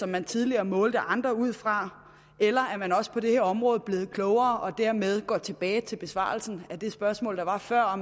man tidligere målte andre ud fra eller er man også på det her område blevet klogere og dermed gå tilbage til besvarelsen af det spørgsmål der var før og